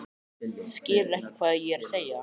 Skilurðu ekki hvað ég er að segja?